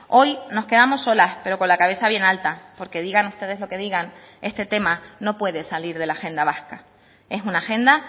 hoy nos quedamos solas pero con la cabeza bien alta porque digan ustedes lo que digan este tema no puede salir de la agenda vasca es una agenda